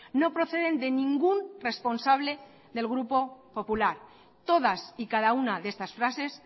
no proceden de ningún responsable del grupo popular todas y cada una de estas frases